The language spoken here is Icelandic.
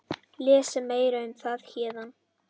Lesa meira um það hér.